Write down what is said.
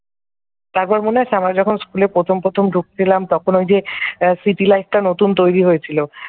তারপর মনে আছে আমরা যখন school প্রথম প্রথম ঢুকছিলাম তখন ওই যে city light টা নতুন তৈরি হয়েছিল ।